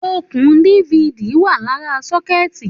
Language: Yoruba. Òkún Difidi wà làrá sọkẹti